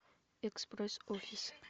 экспресс офис